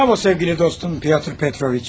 Bravo sevgili dostum Pyotr Petroviç.